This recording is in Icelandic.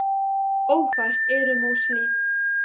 Ófært er um Óshlíð.